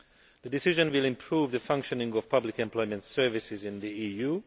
The decision will improve the functioning of public employment services in the EU.